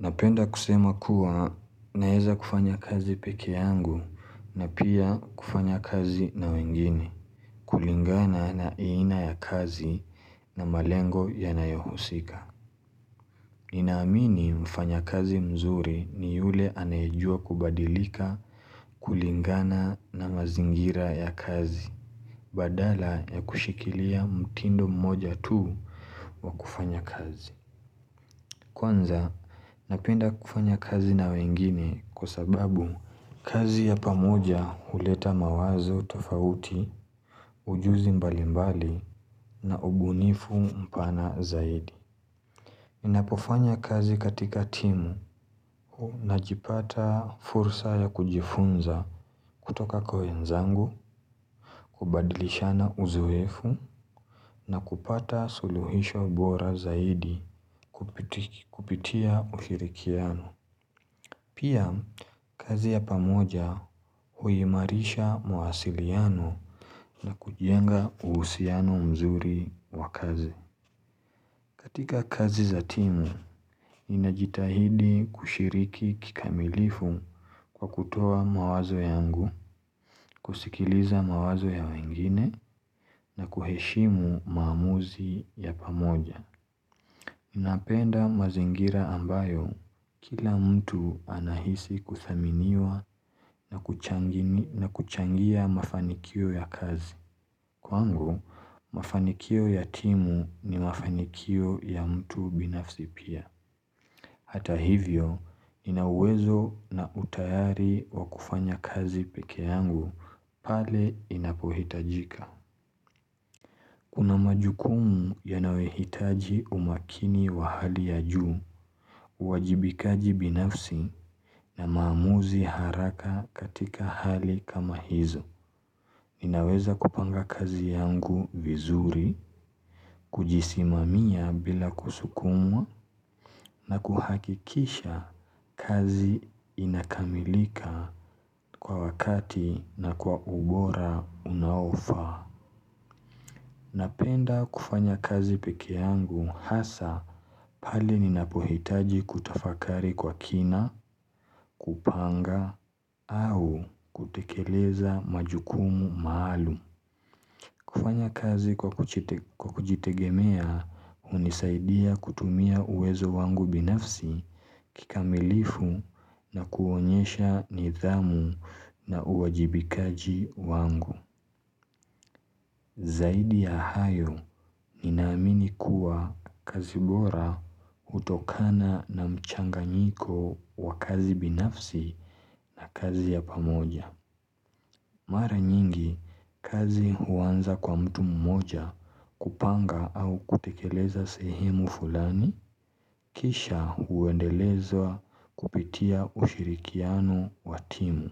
Napenda kusema kuwa naeza kufanya kazi peke yangu na pia kufanya kazi na wengine. Kulingana na aina ya kazi na malengo yanayohusika. Ninaamini mfanyakazi mzuri ni yule anajua kubadilika kulingana na mazingira ya kazi. Badala ya kushikilia mtindo mmoja tu wa kufanya kazi. Kwanza, napenda kufanya kazi na wengine kwa sababu kazi ya pamoja huleta mawazo tofauti, ujuzi mbali mbali na ubunifu mpana zaidi. Ninapofanya kazi katika timu najipata fursa ya kujifunza kutoka kwa wenzangu, kubadilishana uzoefu na kupata suluhisho bora zaidi kupitia ushirikiano. Pia, kazi ya pamoja huimarisha mawasiliano na kujenga uhusiano mzuri wa kazi. Katika kazi za timu, ninajitahidi kushiriki kikamilifu kwa kutoa mawazo yangu, kusikiliza mawazo ya wengine na kuheshimu maamuzi ya pamoja. Ninapenda mazingira ambayo, kila mtu anahisi kuthaminiwa na kuchangia mafanikio ya kazi. Kwangu, mafanikio ya timu ni mafanikio ya mtu binafsi pia. Hata hivyo, nina uwezo na utayari wa kufanya kazi peke yangu pale inapohitajika. Kuna majukumu yanayohitaji umakini wa hali ya juu, uwajibikaji binafsi na maamuzi haraka katika hali kama hizo. Ninaweza kupanga kazi yangu vizuri, kujisimamia bila kusukumwa na kuhakikisha kazi inakamilika kwa wakati na kwa ubora unaofaa. Napenda kufanya kazi peke yangu hasa pale ninapohitaji kutafakari kwa kina, kupanga, au kutekeleza majukumu maalum. Kufanya kazi kwa kujitegemea hunisaidia kutumia uwezo wangu binafsi kikamilifu na kuonyesha nidhamu na uwajibikaji wangu. Zaidi ya hayo, ninaamini kuwa kazi bora hutokana na mchanganyiko wa kazi binafsi na kazi ya pamoja. Mara nyingi, kazi huanza kwa mtu mmoja kupanga au kutekeleza sehemu fulani, kisha huendeleza kupitia ushirikiano wa timu.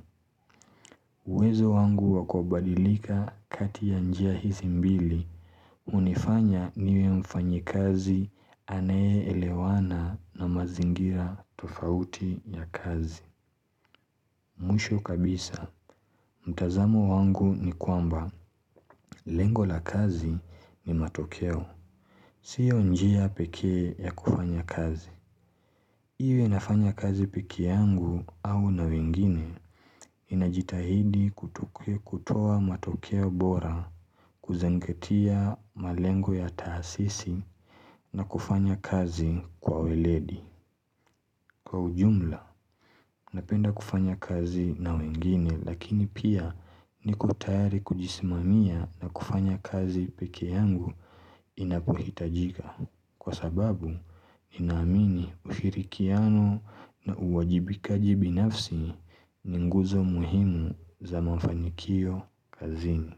Uwezo wangu wa kubadilika kati ya njia hizi mbili, hunifanya niwe mfanyikazi anayeelewana na mazingira tofauti ya kazi. Mwisho kabisa, mtazamo wangu ni kwamba, lengo la kazi ni matokeo, sio njia pekee ya kufanya kazi. Iwe nafanya kazi pike yangu au na wengine ninajitahidi kutoa matokeo bora kuzingatia malengo ya taasisi na kufanya kazi kwa weledi kwa ujumla. Napenda kufanya kazi na wengine lakini pia niko tayari kujisimamia na kufanya kazi peke yangu ninapohitajika Kwa sababu ninaamini ushirikiano na uwajibikaji binafsi ni nguzo muhimu za mafanikio kazini.